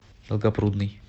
долгопрудный